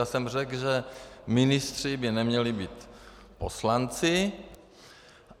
Já jsem řekl, že ministři by neměli být poslanci.